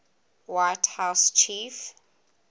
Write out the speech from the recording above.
white house chief